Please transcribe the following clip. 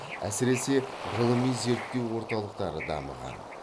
әсіресе ғылыми зерттеу орталықтары дамыған